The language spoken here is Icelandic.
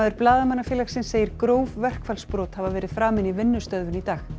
Blaðamannafélagsins segir gróf verkfallsbrot hafa verið framin í vinnustöðvun í dag